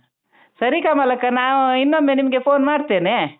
ಸರಿ ಕಮಲಕ್ಕ ನಾವು ಇನ್ನೊಮ್ಮೆ ನಿಮ್ಗೆ phone ಮಾಡ್ತೇನೆ.